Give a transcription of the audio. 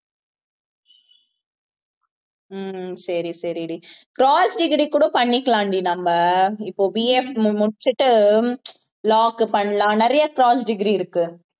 ஹம் சரி சரிடி cross degree கூட பண்ணிக்கலாம் டி நம்ம இப்ப BA முடிச்சுட்டு law க்கு பண்ணலாம் நிறைய cross degree இருக்கு